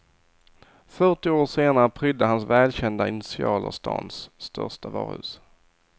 Fyrtio år senare prydde hans välkända initialer stan största varuhus.